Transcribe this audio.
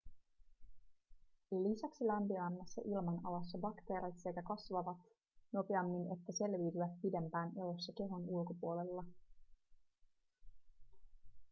lisäksi lämpimämmässä ilmanalassa bakteerit sekä kasvavat nopeammin että selviytyvät pidempään elossa kehon ulkopuolella